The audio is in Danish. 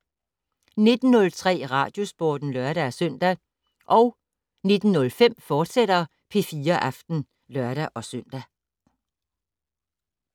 19:03: Radiosporten (lør-søn) 19:05: P4 Aften, fortsat (lør-søn)